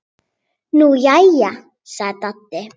Nú jæja sagði Dadda.